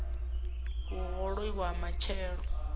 u hoṱola na u fhelelwa